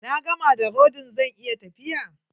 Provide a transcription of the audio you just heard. Na gama da rodin, zan iya tafiya?